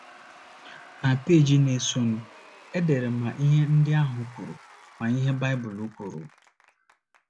Na peeji na - esonụ, e dere ma ihe ndị ahụ kwuru ma ihe Baịbụl kwuru.